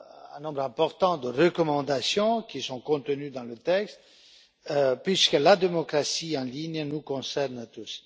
un nombre important de recommandations qui sont contenues dans le texte, puisque la démocratie en ligne nous concerne tous.